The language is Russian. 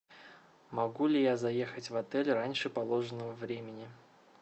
могу ли я заехать в отель раньше положенного времени